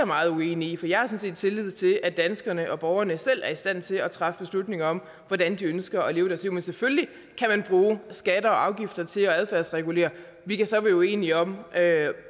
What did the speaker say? meget uenige for jeg har sådan set tillid til at danskerne borgerne selv er i stand til at træffe beslutning om hvordan de ønsker at leve deres liv men selvfølgelig kan man bruge skatter og afgifter til at adfærdsregulere vi kan så være uenige om